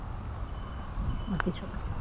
আর কিছু না